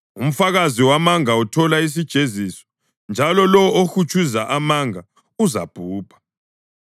Umfakazi wamanga uthola isijeziso, njalo lowo ohutshuza amanga uzabhubha.